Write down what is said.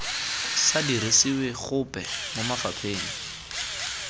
sa dirisiwe gope mo mafapheng